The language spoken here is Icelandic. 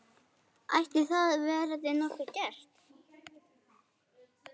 Ætli það verði nokkuð gert?